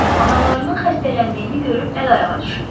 Analarının xəstələndiyini görüb əl-ayağa düşürlər.